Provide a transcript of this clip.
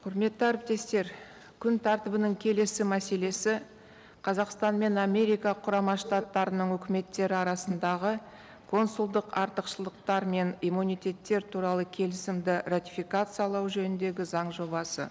құрметті әріптестер күн тәртібінің келесі мәселесі қазақстан мен америка құрама штаттарының өкіметтері арасындағы консулдық артықшылықтар мен иммунитеттер туралы келісімді ратификациялау жөніндегі заң жобасы